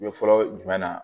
Ɲɛfɔ jumɛn na